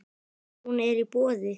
Hún er í boði.